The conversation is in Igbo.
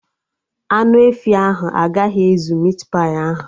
Anụ efi ahụ agaghị ezu mit pai ahụ